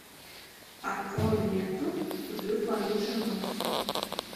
открой ленту люблю твою жену